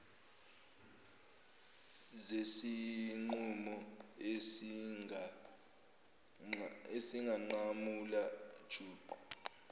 zesinqumo esingunqamula juqu